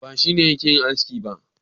Ba shi ne yake yin aski ba.